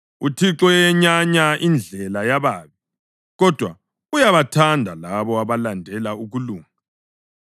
UThixo uyayenyanya indlela yababi, kodwa uyabathanda labo abalandela ukulunga.